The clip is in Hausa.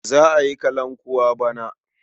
Za a yi kalankuwa bana.